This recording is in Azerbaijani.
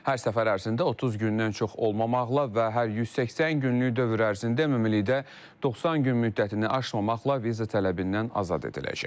Hər səfər ərzində 30 gündən çox olmamaqla və hər 180 günlük dövr ərzində ümumilikdə 90 gün müddətini aşmamaqla viza tələbindən azad ediləcək.